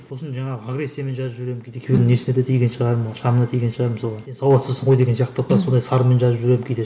сосын жаңағы агрессиямен жазып жіберемін кейде екеуінің несіне де тиген шығармын шамына тиген шығармын солай сауатсызсың ғой деген сияқты сондай сарынмен жазып жіберемін кейде